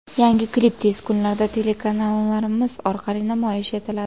Yangi klip tez kunlarda telekanallarimiz orqali namoyish etiladi.